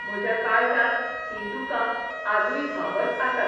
म्हज्या काळजांत हीं दुकां आजूय व्हांबत आसात.